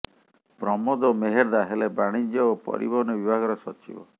ପ୍ରମୋଦ ମେହେର୍ଦ୍ଦା ହେଲେ ବାଣିଜ୍ୟ ଓ ପରିବହନ ବିଭାଗର ସଚିବ